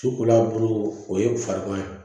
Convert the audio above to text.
Sukolan bolo o ye farikan ye